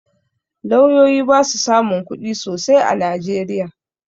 Lauyoyi ba su samun kuɗi sosai a najeriya